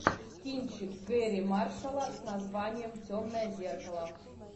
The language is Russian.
кинчик гэрри маршалла с названием темное зеркало